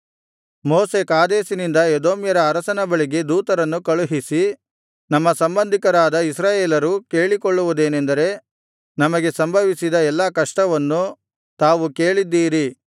ಮೋಶೆ ಕಾದೇಶಿನಿಂದ ಎದೋಮ್ಯರ ಅರಸನ ಬಳಿಗೆ ದೂತರನ್ನು ಕಳುಹಿಸಿ ನಮ್ಮ ಸಂಬಂಧಿಕರಾದ ಇಸ್ರಾಯೇಲರು ಕೇಳಿಕೊಳ್ಳುವುದೇನೆಂದರೆ ನಮಗೆ ಸಂಭವಿಸಿದ ಎಲ್ಲಾ ಕಷ್ಟವನ್ನು ತಾವು ಕೇಳಿದ್ದೀರಿ